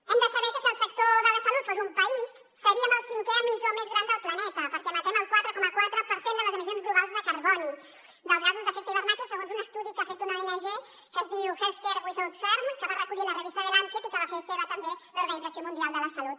hem de saber que si el sector de la salut fos un país seríem el cinquè emissor més gran del planeta perquè emetem el quatre coma quatre per cent de les emissions globals de carboni dels gasos amb efecte d’hivernacle segons un estudi que ha fet una ong que es diu health care without harm que va recollir la revista the lancet i que va fer seu també l’organització mundial de la salut